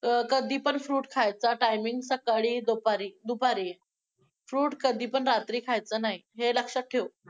कधी पण fruit खायचा timing सकाळी-दुपारी, दुपारी! Fruit कधी पण रात्री खायचा नाही, हे लक्षात ठेव!